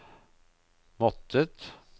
måttet